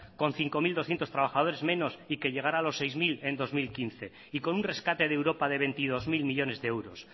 con cinco mil doscientos trabajadores menos y que llegará a los seis mil en dos mil quince y con un rescate de europa de veintidós mil millónes de euros